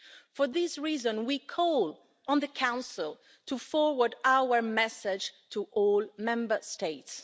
For this reason, we call on the Council to forward our message to all Member States.